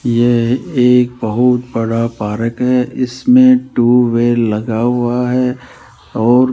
यह एक बहुत बड़ा पारक है इसमें ट्यूबवेल लगा हुआ है और --